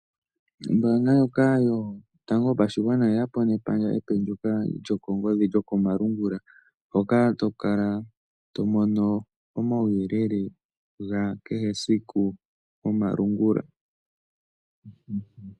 Ombaanga ndjoka yotango yopashigwana oyeyapo nepandja epe ndyoka lyokongodhi lyokomalungula. Hoka tokala to mono omauyelele gakehe esiku gomalungula.